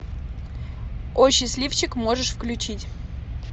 о счастливчик можешь включить